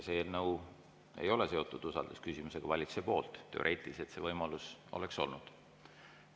See eelnõu ei ole seotud usaldusküsimusega valitsuse poolt, kuigi teoreetiliselt see võimalus oleks olnud.